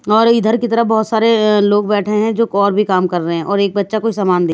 और इधर की तरफ बहोत सारे लोग बैठे हैं जो और भी काम कर रहे हैं और एक बच्चा कोई सामान दे--